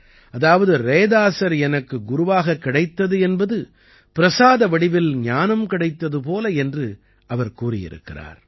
அதாவது ரைதாஸர் எனக்கு குருவாகக் கிடைத்தது என்பது பிரசாத வடிவில் ஞானம் கிடைத்தது போல என்று அவர் கூறியிருக்கிறார்